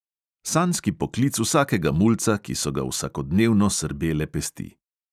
Sanjski poklic vsakega mulca, ki so ga vsakodnevno srbele pesti.